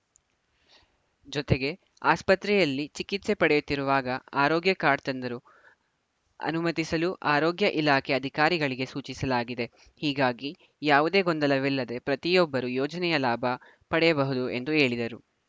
ಜತೆಗೆ ಆಸ್ಪತ್ರೆಯಲ್ಲಿ ಚಿಕಿತ್ಸೆ ಪಡೆಯುತ್ತಿರುವಾಗ ಆರೋಗ್ಯ ಕಾರ್ಡ್‌ ತಂದರೂ ಅನುಮತಿಸಲು ಆರೋಗ್ಯ ಇಲಾಖೆ ಅಧಿಕಾರಿಗಳಿಗೆ ಸೂಚಿಸಲಾಗಿದೆ ಹೀಗಾಗಿ ಯಾವುದೇ ಗೊಂದಲವಿಲ್ಲದೆ ಪ್ರತಿಯೊಬ್ಬರೂ ಯೋಜನೆಯ ಲಾಭ ಪಡೆಯಬಹುದು ಎಂದು ಹೇಳಿದರು